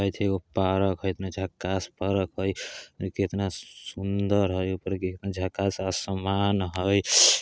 पार्क हई इतना झक्कास पार्क हई कितना सुनदर हई झक्कास आसमान हई ।